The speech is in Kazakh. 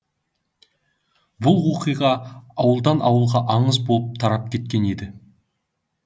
бұл оқиға ауылдан ауылға аңыз боп тарап кеткен еді